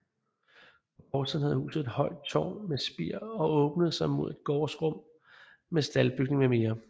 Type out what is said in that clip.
På gårdsiden havde huset et højt tårn med spir og åbnede sig mod et gårdsrum med staldbygning mm